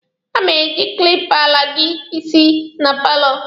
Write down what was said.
A ma-eji kilipa ala gị isi na paalo.